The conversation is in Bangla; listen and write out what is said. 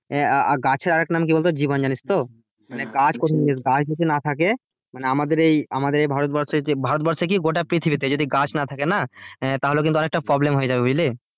আহ গাছের আরেক নাম কি বলতো জীবন জানিস তো গাছ যদি না থাকে মানে আমাদের এই, আমাদের এই ভারতবর্ষে যে ভারতবর্ষে কি গোটা পৃথিবীতে যদি গাছ না থাকে না তাহলে অনেকটা problem হয়ে যাবে বুঝলি?